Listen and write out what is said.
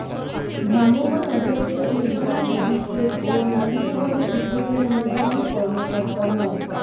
ভ্রাম্যমাণ আদালতের নির্বাহী ম্যাজিস্ট্রেট ও নালিতাবাড়ী উপজেলা নির্বাহী কর্মকর্তা মো